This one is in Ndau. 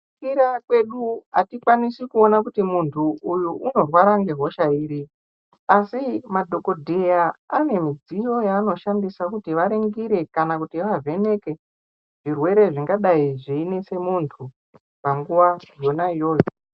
Kira kwedu atikwanisi kuona kuti mundu uyu unorwara ngehosha ere, asi madhogodhera ane midziyo yanoshandisa kuti varingira kana kuti vavheneke zvirwere zvingadai zveyinetse mundu panguva yona iyoyo.